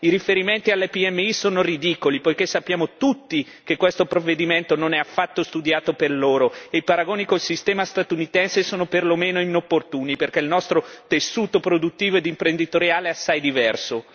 I riferimenti alle PMI sono ridicoli, poiché sappiamo tutti che questo provvedimento non è affatto studiato per loro e i paragoni col sistema statunitense sono perlomeno inopportuni, perché il nostro tessuto produttivo ed imprenditoriale è assai diverso.